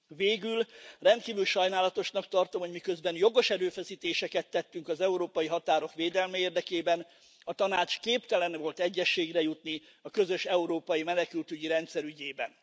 Végül rendkívül sajnálatosnak tartom, hogy miközben jogos erőfeszítéseket tettünk az európai határok védelme érdekében, a Tanács képtelen volt egyezségre jutni a közös európai menekültügyi rendszer ügyében.